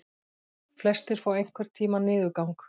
Flestir fá einhvern tíma niðurgang.